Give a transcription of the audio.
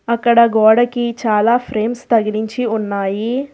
అక్కడ గోడకి చాలా ఫ్రేమ్స్ తగిలించి ఉన్నాయి.